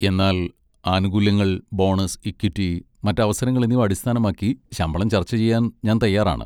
എന്നാൽ ആനുകൂല്യങ്ങൾ, bonus, equity, മറ്റ് അവസരങ്ങൾ എന്നിവ അടിസ്ഥാനമാക്കി ശമ്പളം ചർച്ച ചെയ്യാൻ ഞാൻ തയ്യാറാണ്.